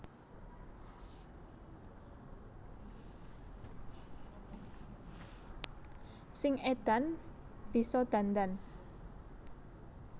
Sing edan bisa dandan